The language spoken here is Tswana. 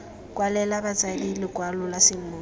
kwalela batsadi lekwalo la semmuso